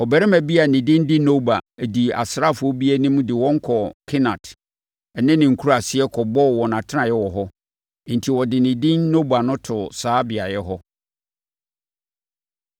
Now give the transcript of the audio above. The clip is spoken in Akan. Ɔbarima bi a ne din de Noba dii asraafoɔ bi anim de wɔn kɔɔ Kenat ne ne nkuraaseɛ kɔbɔɔ wɔn atenaeɛ wɔ hɔ, enti ɔde ne din Noba too saa beaeɛ hɔ.